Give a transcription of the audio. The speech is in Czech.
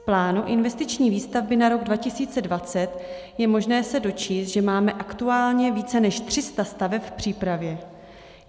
V plánu investiční výstavby na rok 2020 je možné se dočíst, že máme aktuálně více než 300 staveb v přípravě.